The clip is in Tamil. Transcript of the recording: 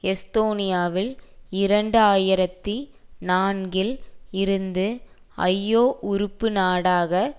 எஸ்தோனியாவில் இரண்டு ஆயிரத்தி நான்கில் இருந்து ஐஒ உறுப்பு நாடாக